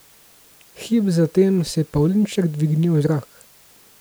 Hip zatem se je pavlinček dvignil v zrak.